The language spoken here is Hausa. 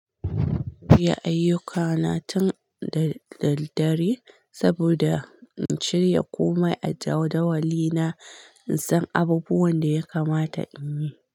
Iyaa ayyukana tun da daddare saboda in shirya komai a jadawali na, in san abubuwan da ya kamata in yi.